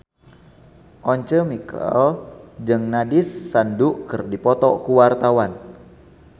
Once Mekel jeung Nandish Sandhu keur dipoto ku wartawan